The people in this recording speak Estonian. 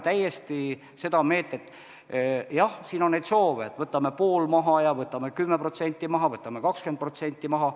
Aga jah, on soove, et võtame pool maha, võtame 10% maha, võtame 20% maha.